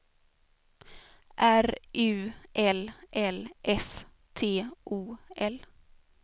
R U L L S T O L